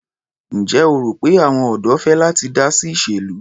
Ǹjẹ́ o rò pé àwọn ọ̀dọ́ fẹ́ láti dá sí ìṣèlú?